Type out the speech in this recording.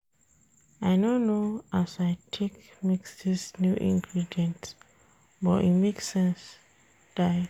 I no know as I take mix dis new ingredients but e make sense die.